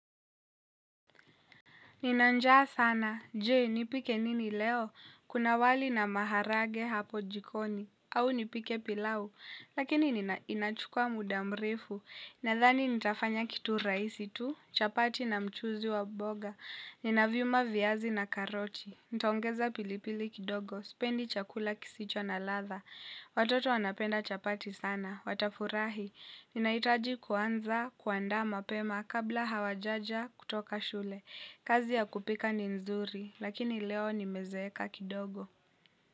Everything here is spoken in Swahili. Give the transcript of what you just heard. Nina njaa sana, je, nipike nini leo? Kuna wali na maharage hapo jiko, au nipike pilau? Lakini inachukua muda mrefu, nadhani nitafanya kitu rahisi tu, chapati na mchuuzi wa mboga. Nina vyuma, viazi na karoti. Nitaongeza pili pili kidogo, sipendi chakula kisicho na ladha. Watoto wanapenda chapati sana, watafurahi. Ninahitaji kuanza, kuanda mapema, kabla hawajaja kutoka shule. Kazi ya kupika ni nzuri, lakini leo nimezeeka kidogo.